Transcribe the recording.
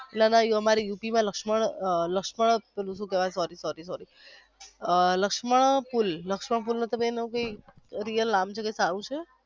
એલા ભાઈ અમારે યુપી માં લક્ષમણ લક્ષ્મણ બીજું સુકેવાઈ sorry sorry લક્ષ્મણ પુલ લક્ષ્મણ પુલ તમને એનું real નામ છે એ સારું છે